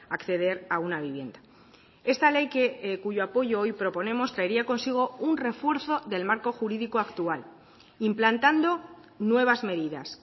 acceder a una vivienda esta ley que cuyo apoyo hoy proponemos traería consigo un refuerzo del marco jurídico actual implantando nuevas medidas